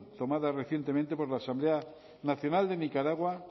tomada recientemente por la asamblea nacional de nicaragua